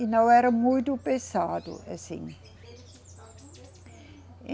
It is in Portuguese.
E não era muito pesado, assim.